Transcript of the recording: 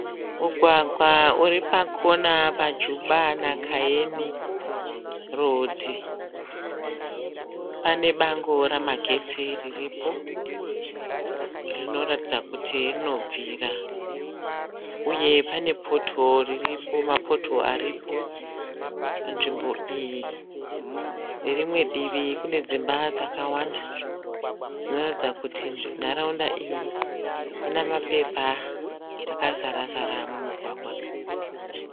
Mugwagawa uri pakona paJuba naKayeni rhodhi. Pane bango ramagetsi riripo rinoratidza kuti rinobvira. Uye pane mapotihoro aripo panzvimbo iyi. Nerimwe divi kune dzimba dzakawanda dzinoratidza kuti nharaunda iyi ine mapepa akazara-zara mumugwagwa.